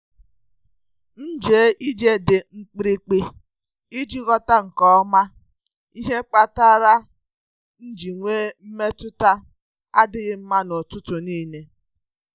M jee ije dị mkpirikpi iji ghọta nke ọma ihe kpatara m ji nwee mmetụta adịghị mma n’ụtụtụ niile.